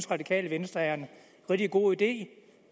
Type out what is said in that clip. radikale venstre er en rigtig god idé